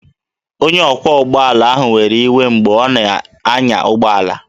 Onye ọkwọ ụgbọ ala ahụ were iwe mgbe ọ na-anya ụgbọ ala